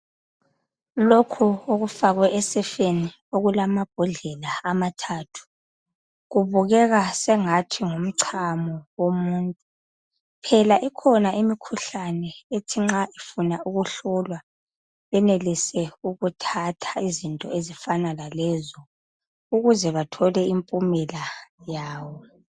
Lokho okufakwe esefeni okulamambhodlela amathathu kubukeka sengathi nguchamo womuntu phela ikhona imikhuhlane ethi nxa ifuna ukuhlolwa benelise ukuthatha izinto ezifana lalezo ukuze bathole impumela yawo.